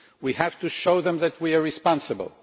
We have to show them that we are responsible.